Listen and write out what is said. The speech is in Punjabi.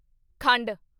ਖੰਡ